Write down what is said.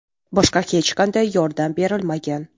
Boshqa hech qanday yordam berilmagan.